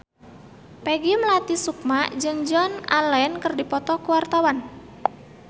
Peggy Melati Sukma jeung Joan Allen keur dipoto ku wartawan